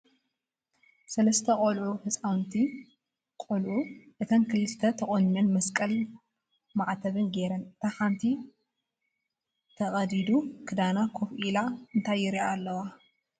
ሰለስተ ቆሎዑ ሕፃዉንቲ ቆልዑ እተን ክልተ ተቆኒነን መስቀል ማዕተብ ጌረን እታ ሓንቲ ተቅዲዱ ክዳና ኮፍ ኢለን እንታይ ይሪኣ ኣለዋ ?